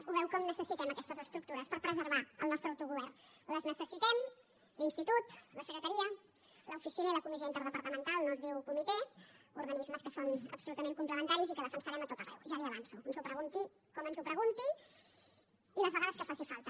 ho veu com necessitem aquestes estructures per preservar el nostre autogovern les necessitem l’institut la secretaria l’oficina i la comissió interdepartamental no es diu comitè organismes que són absolutament complementaris i que defensarem a tot arreu ja li ho avanço ens ho pregunti com ens ho pregunti i les vegades que faci falta